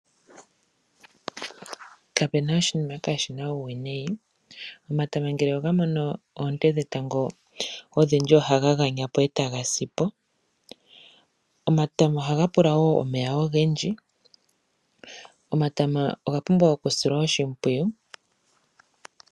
Kapena oshinima kaashina uuwinayi. Omatama ngele oga mono oonte dhetango odhindji ohaga ganya po etaga si po. Omatama ohaga pula wo omeya ogendji. Omatama oga pumbwa okusilwa oshimpwiyu.